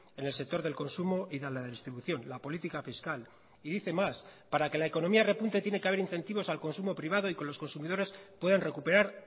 en el sector del consumo y de la distribución la política fiscal y dice más para que la economía repunte tiene que haber incentivos al consumo privado y con los consumidores puedan recuperar